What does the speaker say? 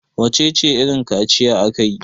wacece irin kaciya aka yi!